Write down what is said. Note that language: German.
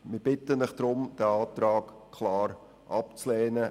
Ich bitte den Rat deshalb, diesen klar abzulehnen.